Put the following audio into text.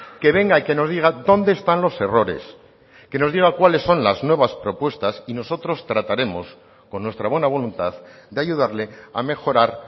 que venga y que nos diga dónde están los errores que nos diga cuales son las nuevas propuestas y nosotros trataremos con nuestra buena voluntad de ayudarle a mejorar